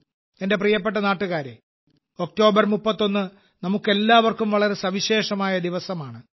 എന്റെ പ്രിയപ്പെട്ട നാട്ടുകാരെ ഒക്ടോബർ 31 നമുക്കെല്ലാവർക്കും വളരെ സവിശേഷമായ ദിവസമാണ്